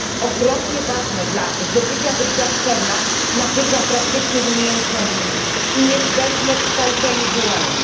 Ogromnie ważne dla zdobycia doświadczenia, nabycia praktycznych umiejętności i niezbędne w kształceniu dualnym.